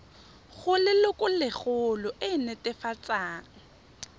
go lelokolegolo e e netefatsang